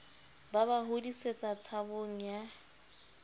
ba ba hodisetsa tshabong ya